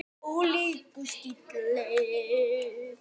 Ólíkur stíll.